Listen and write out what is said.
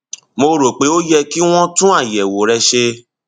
mo rò pé ó yẹ kí wọn tún àyẹwò rẹ ṣe